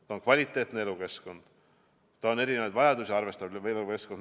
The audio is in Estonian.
See on kvaliteetne elukeskkond, see on erinevaid vajadusi arvestav elukeskkond.